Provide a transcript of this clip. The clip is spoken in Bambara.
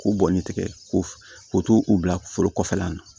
K'o bɔnni tigɛ k'o o t'o bila foro kɔfɛlan na